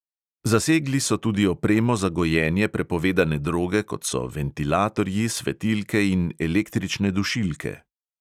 Zasegli so tudi opremo za gojenje prepovedane droge, kot so ventilatorji, svetilke in električne dušilke.